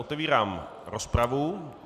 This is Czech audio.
Otevírám rozpravu.